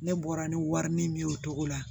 Ne bɔra ni wari min ye o togo la